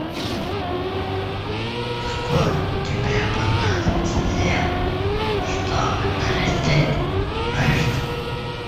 сколько тебе понадобится лет чтобы нарастить мышцы